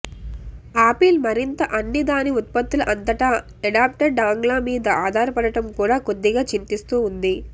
apple మరింత అన్ని దాని ఉత్పత్తుల అంతటా ఎడాప్టర్ డాంగ్ల మీద ఆధారపడటం కూడా కొద్దిగా చింతిస్తూ ఉంది